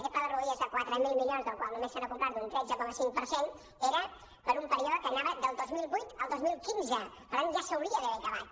aquest pla de rodalies de quatre mil milions del qual només se n’ha complert un tretze coma cinc per cent era per a un període que anava del dos mil vuit al dos mil quinze per tant ja s’hauria d’haver acabat